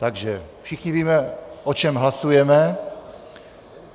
Takže všichni víme, o čem hlasujeme.